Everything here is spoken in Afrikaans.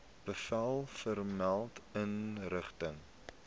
bevel vermelde inrigting